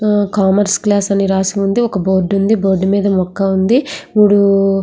Commerce class అని రాసి ఉంది ఒక బోర్డు ఉంది బోర్డు మీద మొక్క ఉంది. మూడు --